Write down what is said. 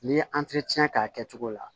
N'i ye k'a kɛcogo la